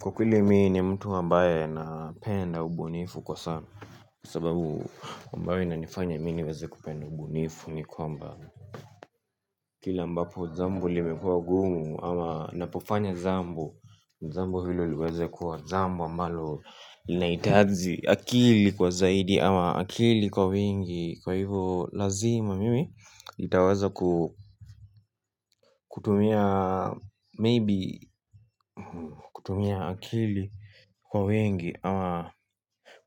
Kwa kweli mii ni mtu ambaye napenda ubunifu kwa sana. Kwa sababu ambayo inanifanya mi niweze kupenda ubunifu ni kwamba kila ambapo jambo limekuwa gumu ama napofanya jambo jambo hilo liweze kuwa jambo ambalo linahitaji akili kwa zaidi ama akili kwa wingi, kwa hivo lazima mimi nitaweza ku kutumia maybe kutumia akili kwa wengi ama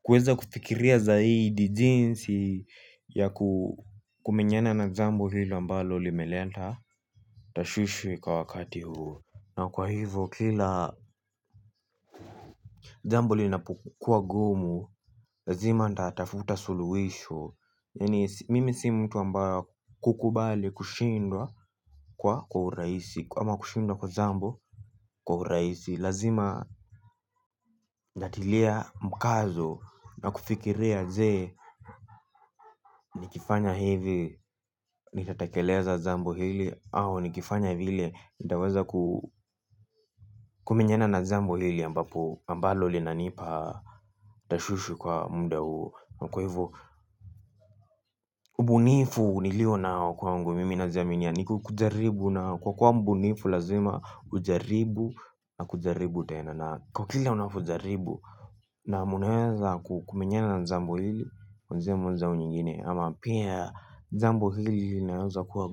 kuweza kufikiria zaidi jinsi ya kumenyana na jambo hilo ambalo limeleta tashwishwi kwa wakati huo. Na kwa hivo kila jambo linapukuwa gumu. Lazima natafuta suluhisho. Mimi si mtu ambayo wa kukubali kushindwa kwa urahisi ama kushindwa kwa jambo kwa urahisi. Lazima natilia mkazo na kufikiria ze. Nikifanya hivi, nitatekeleza jambo hili au nikifanya vile, nitaweza kumenyena na jambo hile ambapo ambalo linanipa tashwishwi kwa muda huo. Kwa hivyo, ubunifu nilio na kwa mgu mimi na zamini. Kwa kwa ubunifu lazima, ujaribu na kujaribu tena. Na kwa kila unavyo jaribu na munaweza kumenyena na jambo lile kwa njia moja au nyingine jambo hili limaweza kuwa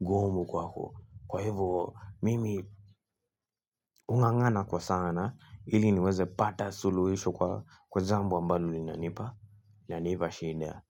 gumu kwako kwa hivo mimi ung'ang'ana kwa sana hili niweze pata suluhisho kwa jambo ambalo linanipa linanipa shida.